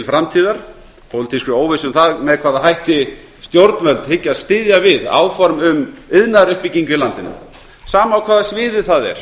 framtíðar pólitískri óvissu um það með hvaða hætti stjórnvöld hyggjast styðja við áform um iðnaðaruppbyggingu í landinu sama á hvaða sviði það er